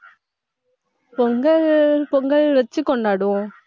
பொங்கல், பொங்கல் வெச்சு கொண்டாடுவோம்.